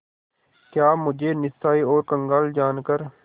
क्या मुझे निस्सहाय और कंगाल जानकर